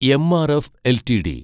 MRF LTD